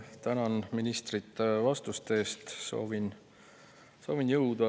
Tänan ministrit vastuste eest ja soovin jõudu.